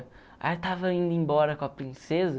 Aí eu estava indo embora com a princesa,